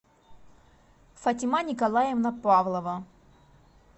фатима николаевна павлова